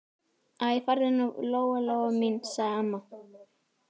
Æ, farðu nú, Lóa-Lóa mín, sagði amma.